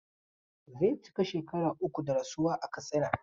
Zai cika shekara uku da rasuwa a Katsina.